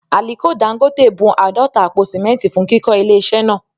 Àliko Dangote bun àádọ́ta àpò sìmẹ́ntì fún kíkọ́ ilé iṣẹ́ náà